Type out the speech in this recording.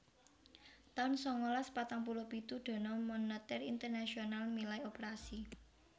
taun sangalas patang puluh pitu Dana Moneter Internasional milai operasi